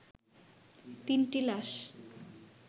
তিনটি লাশ